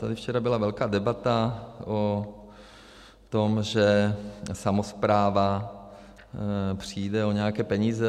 Tady včera byla velká debata o tom, že samospráva přijde o nějaké peníze.